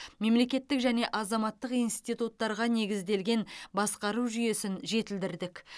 мемлекеттік және азаматтық институттарға негізделген басқару жүйесін жетілдірдік